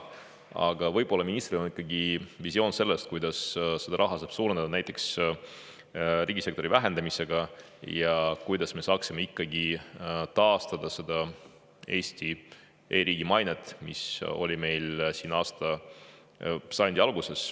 Aga äkki on ministril ikkagi visioon sellest, kuidas seda raha suurendada, näiteks riigisektori vähendamisega, ja kuidas me saaksime taastada Eesti e-riigi maine, mis oli meil sajandi alguses.